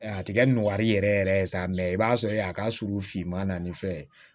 A ti kɛ nɔgɔya yɛrɛ yɛrɛ ye sa mɛ i b'a sɔrɔ a ka surun finma na ni fɛn ye